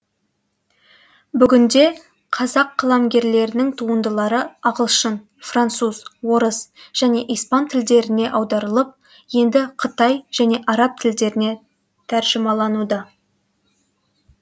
бүгінде қазақ қаламгерлерінің туындылары ағылшын француз орыс және испан тілдеріне аударылып енді қытай және араб тілдеріне тәржімалануда